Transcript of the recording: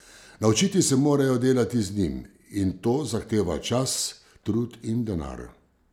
Naučiti se morajo delati z njim, in to zahteva čas, trud in denar.